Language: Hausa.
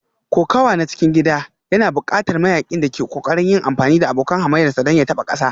Kokawa na cikin gida yana buƙatar mayaƙin da ke ƙoƙarin yin amfani da abokan hamayyarsa don ya taɓa ƙasa